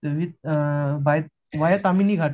with bike via Tamhini Ghat